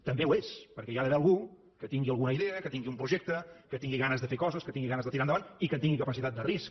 també ho és perquè hi ha d’haver algú que tingui alguna idea que tingui un projecte que tingui ganes de fer coses que tingui ganes de tirar endavant i que tingui capacitat de risc